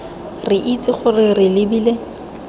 re itse gore re lebile